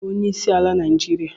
Ọnye bu onyeisiala Naijiria?